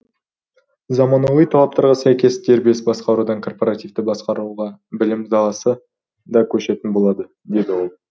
заманауи талаптарға сәйкес дербес басқарудан корпоративті басқаруға білім саласы да көшетін болады деді ол